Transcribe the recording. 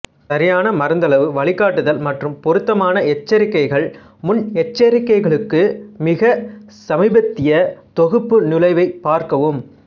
சரியான மருந்தளவு வழிகாட்டுதல் மற்றும் பொருத்தமான எச்சரிக்கைகள்முன்னெச்சரிக்கைகளுக்கு மிகச் சமீபத்திய தொகுப்பு நுழைவைப் பார்க்கவும்